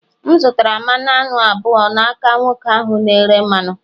M zụtara mmanụ aṅụ abụọ n'aka nwoke ahụ na-ere mmanụ